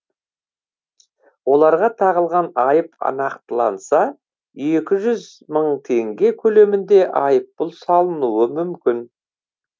оларға тағылған айып нақтыланса екі жүз мың теңге көлемінде айыппұл салынуы мүмкін